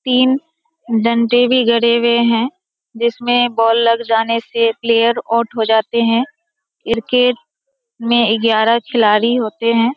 तीन डंडे भी गड़े हुए है जिसमें बॉल लग जाने से प्लेयर आउट हो जाते हैं क्रिकेट में ग्यारह खिलाड़ी होते हैं।